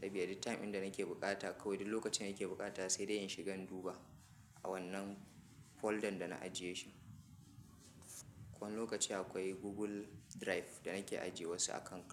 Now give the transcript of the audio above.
Saboda duk time inda nake buƙata, kawai duk lokacin da nake buƙata sai dai in shiga in duba a wannan folder da na ajiye shi. Ko wani lokaci akwai Google Drive da nake ajiye wasu a kan kai.